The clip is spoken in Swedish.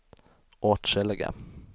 åtskilliga